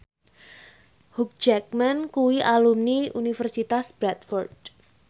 Hugh Jackman kuwi alumni Universitas Bradford